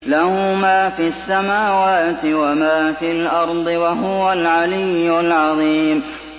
لَهُ مَا فِي السَّمَاوَاتِ وَمَا فِي الْأَرْضِ ۖ وَهُوَ الْعَلِيُّ الْعَظِيمُ